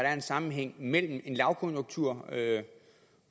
er en sammenhæng mellem en lavkonjunktur